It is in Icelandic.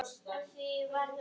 Þú sagðir það.